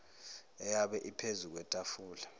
eyabe iphezu kwetafula